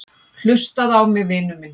Hlustaðu á mig, vinur minn.